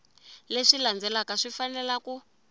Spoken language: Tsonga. leswi landzelaka swi fanele ku